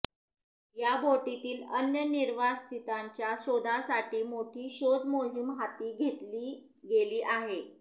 या बोटीतील अन्य निर्वासितांच्या शोधासाठी मोठी शोध मोहिम हाती घेतली गेली आहे